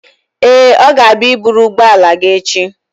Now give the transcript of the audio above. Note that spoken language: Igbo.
Ee, ọ ga-abịa i buru ụgbọala gị echi.